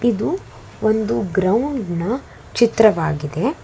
ಇದು ಒಂದು ಗ್ರೌಂಡ್ ನ ಚಿತ್ರವಾಗಿದೆ.